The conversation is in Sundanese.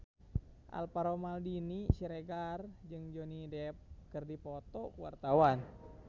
Alvaro Maldini Siregar jeung Johnny Depp keur dipoto ku wartawan